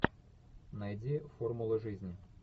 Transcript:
найди формула жизни